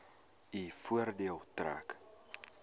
u voordeel trek